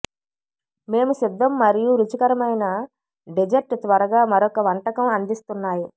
మేము సిద్ధం మరియు రుచికరమైన డెజర్ట్ త్వరగా మరొక వంటకం అందిస్తున్నాయి